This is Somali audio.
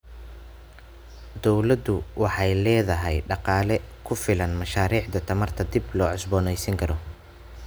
Dawladdu waxay la'dahay dhaqaale ku filan mashaariicda tamarta dib loo cusboonaysiin karo.